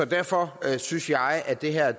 derfor synes jeg at det her